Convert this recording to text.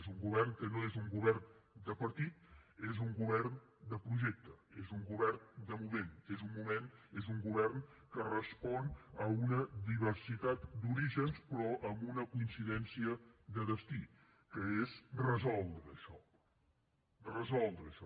és un govern que no és un govern de partit és un govern de projecte és un govern de moment és un govern que respon a una diversitat d’orígens però amb una coincidència de destí que és resoldre això resoldre això